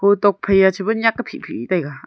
hotok phaiya cheba nyak a phihphih taiga.